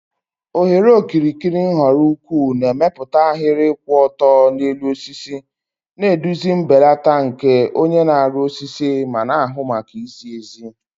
Oghere okirikiri nhọrọ ukwuu na-emepụta ahịrị kwụ ọtọ n'elu osisi, na-eduzi mbelata nke onye na-arụ osisi ma na-ahụ maka izi ezi